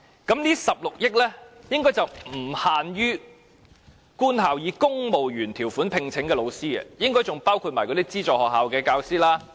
這16億元的追加撥款應該不只是用於官校以公務員條款聘請的教師的薪酬調整，應該還包括資助學校教師的薪酬調整。